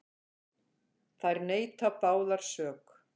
Þær neita báðar sök.